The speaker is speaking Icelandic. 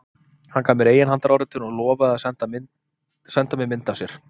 Hann gaf mér eiginhandaráritun og lofaði að senda mér mynd af sér.